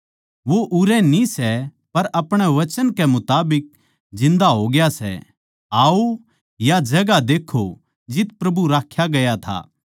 वो उरै न्ही सै पर अपणे वचन कै मुताबिक जिन्दा होग्या सै आओ या जगहां देक्खो जित प्रभु राख्या गया था